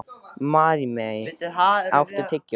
Maríam, áttu tyggjó?